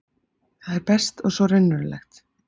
Það er best og svo raunverulegt.